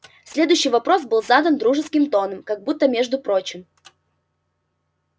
следующий вопрос был задан дружеским тоном как будто между прочим